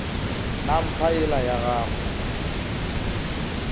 na mpa yela ya gagwe